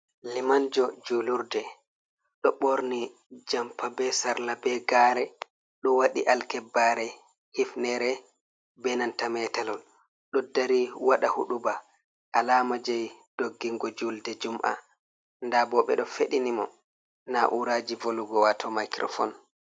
Limanjo julurde, ɗo ɓorni jompa be sarla be gare ɗo waɗi alkibbare hifnere be nanta metelewol, ɗo dari waɗa huɗuba alamaji doggingo julde jum'ɓa, nda bo ɓeɗo feɗini mo na uraji volugo wato maicrofone.